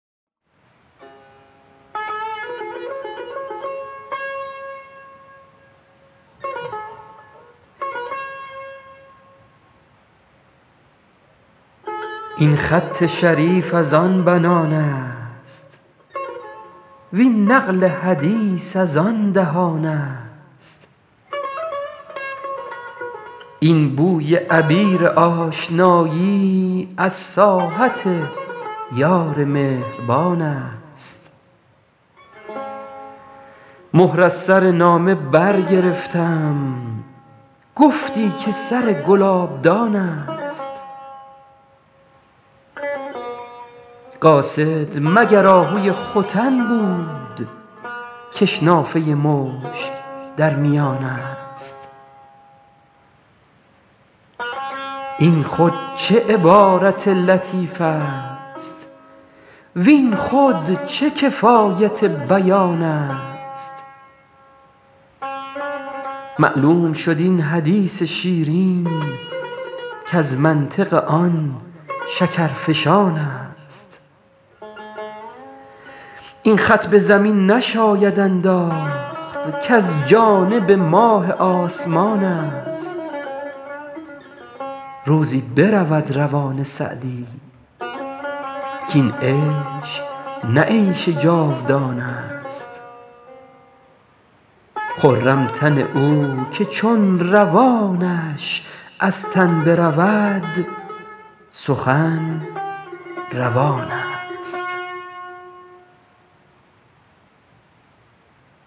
این خط شریف از آن بنان است وین نقل حدیث از آن دهان است این بوی عبیر آشنایی از ساحت یار مهربان است مهر از سر نامه برگرفتم گفتی که سر گلابدان است قاصد مگر آهوی ختن بود کش نافه مشک در میان است این خود چه عبارت لطیف است وین خود چه کفایت بیان است معلوم شد این حدیث شیرین کز منطق آن شکرفشان است این خط به زمین نشاید انداخت کز جانب ماه آسمان است روزی برود روان سعدی کاین عیش نه عیش جاودان است خرم تن او که چون روانش از تن برود سخن روان است